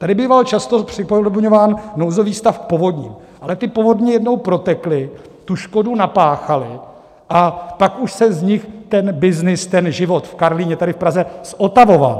Tady býval často připodobňován nouzový stav k povodním, ale ty povodně jednou protekly, tu škodu napáchaly a pak už se z nich ten byznys, ten život v Karlíně tady v Praze, zotavoval.